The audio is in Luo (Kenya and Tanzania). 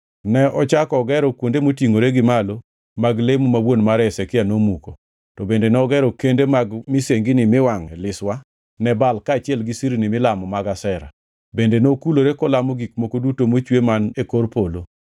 Ne ochako ogero kuonde motingʼore gi malo mag lemo ma wuon mare Hezekia nomuko, to bende nogero kende mag misengini miwangʼoe liswa ne Baal kaachiel gi sirni milamo mag Ashera. Bende nokulore kolamo gik moko duto mochwe man e kor polo.